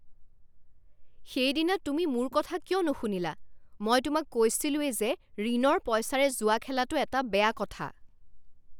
সেইদিনা তুমি মোৰ কথা কিয় নুশুনিলা? মই তোমাক কৈছিলোঁৱেই যে ঋণৰ পইচাৰে জুৱা খেলাটো এটা বেয়া কথা।